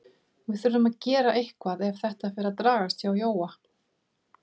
Við þurfum að gera eitthvað ef þetta fer að dragast hjá Jóa.